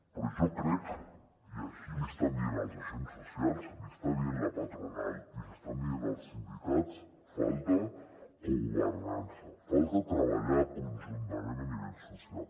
però jo crec i així l’hi estan dient els agents socials l’hi està dient la patronal i l’hi estan dient els sindicats que falta cogovernança falta treballar conjuntament a nivell social